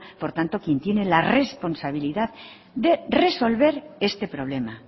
por tanto quien tiene la responsabilidad de resolver este problema